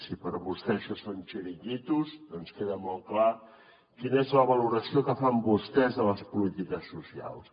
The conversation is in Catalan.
si per a vostè això són xiringuitos doncs queda molt clar quina és la valoració que fan vostès de les polítiques socials